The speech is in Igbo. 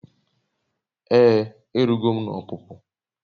Ee erugo m n'opupu